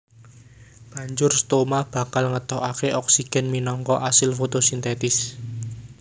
Banjur stoma bakal ngetokaké oksigen minangka asil fotosintesis